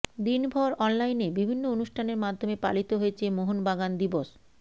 দিনভর অনলাইনে বিভিন্ন অনুষ্ঠানের মাধ্যমে পালিত হয়েছে মোহনবাগান দিবস